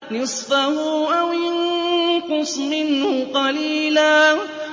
نِّصْفَهُ أَوِ انقُصْ مِنْهُ قَلِيلًا